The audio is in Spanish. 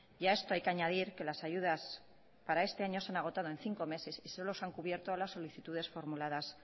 y a esto hay que añadir que las ayudas para este año se han agotado en cinco meses y solo se han cubierto las solicitudes formuladas